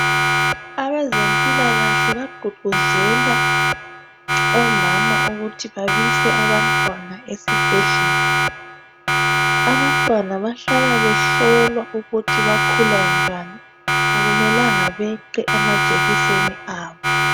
abezempilakahle baqoqozela omama ukuthi babise abantwana esibhedlela abantwana bahlala behlolwa ukuthi bakhula njani akumelanga beqe amajekiseni abo